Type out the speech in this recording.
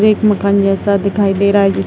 एक मकान जैसा दिखाई दे रहा है जिस --